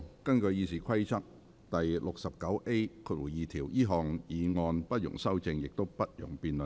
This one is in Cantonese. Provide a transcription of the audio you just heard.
根據《議事規則》第 69A2 條，這項議案不容修正，亦不容辯論。